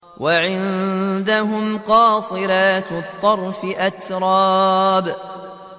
۞ وَعِندَهُمْ قَاصِرَاتُ الطَّرْفِ أَتْرَابٌ